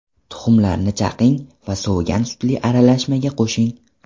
Tuxumlarni chaqing va sovigan sutli aralashmaga qo‘shing.